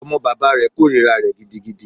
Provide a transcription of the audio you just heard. Ọmọ bàbá rẹ̀ kòrira rẹ̀ gidigidi.